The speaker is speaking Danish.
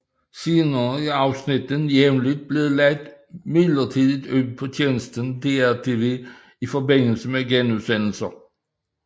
Senere er afsnittene jævnligt blevet lagt midlertidigt ud på tjenesten DR TV i forbindelse med genudsendelser